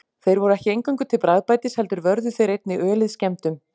Þeir voru ekki eingöngu til bragðbætis heldur vörðu þeir einnig ölið skemmdum.